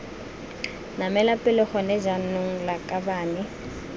namela pele gone jaanong lakabane